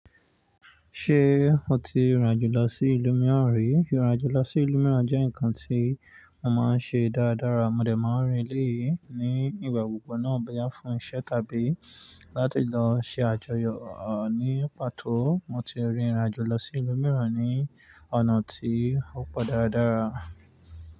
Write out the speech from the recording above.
Ṣé o ti rìn ìrìnàjò lọ sí ìlú mìíràn rí? Ìrìnàjò lọ sí ìlú mìíràn jẹ́ nǹkan tí mo máa ń ṣe dáradára. Mo dẹ̀ máa ń rin bii ní ìgbà kan naa bí a boya fúnṣẹ́ tàbí láti lọ ṣe àjọyọ̀ ní pàtó. Mo ti rin ìrìnàjò lọ sí ìlú mìíràn ní ọ̀nà tí ó pọ̀ dáradára.